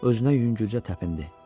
Özünə yüngülcə təpindi.